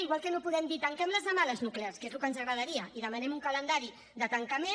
igual que no podem dir tanquem les demà les nuclears que és el que ens agradaria i demanem un calendari de tancament